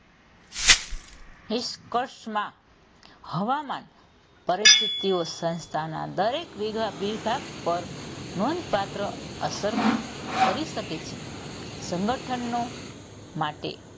નિષ્કશમાં હવામાન પરિસ્થિતિઓ સંસ્થાના દરેક વિભાગ પર નોધપાત્ર અસર કરી શકે છે. સંગઠનનું માટે,